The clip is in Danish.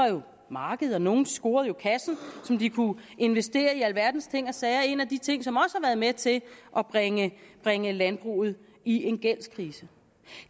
markedet jo nogle scorede kassen som de kunne investere i alverdens ting og sager det er en af de ting som har været med til at bringe bringe landbruget i en gældskrise